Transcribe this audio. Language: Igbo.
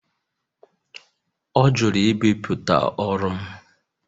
Ọ jụrụ ibipụta ọrụ m